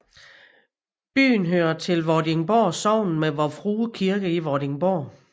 Byen hører til Vordingborg Sogn med Vor Frue Kirke i Vordingborg